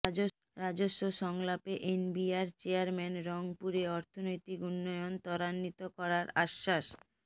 রাজস্ব সংলাপে NBR chairman রংপুরে অর্থনৈতিক উন্নয়ন ত্বরান্বিত করার আশ্বাস